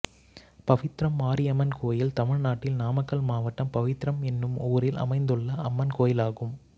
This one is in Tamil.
பவித்ரம் மாரியம்மன் கோயில் தமிழ்நாட்டில் நாமக்கல் மாவட்டம் பவித்ரம் என்னும் ஊரில் அமைந்துள்ள அம்மன் கோயிலாகும்